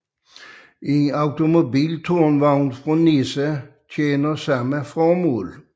En automobiltårnvogn fra NESA tjener samme formål